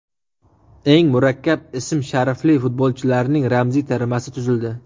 Eng murakkab ism-sharifli futbolchilarning ramziy termasi tuzildi.